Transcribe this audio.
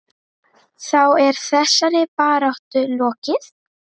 Þá er þessari baráttu lokið.